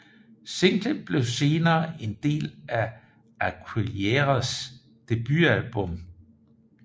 Singlen blev senere en del af Aguileras debutalbum